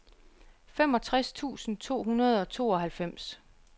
femogtres tusind to hundrede og tooghalvfems